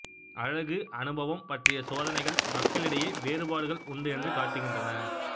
அழகு அனுபவம் பற்றிய சோதனைகள் மக்களிடையே வேறுபாடுகள் உண்டு என்று காட்டுகின்றன